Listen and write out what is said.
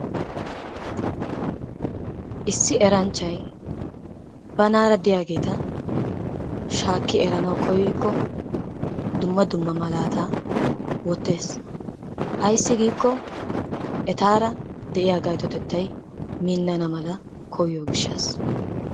Issi eranchchay banaara diyaageeta shaakki erana koyikko dumma dumma malaataa wotees. Ayssi giiko etaara de'iya gaytottettay minana mala koyiyo gishaasa.